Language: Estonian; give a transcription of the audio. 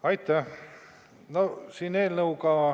Aitäh!